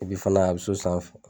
Epi fana a bi so sanfɛ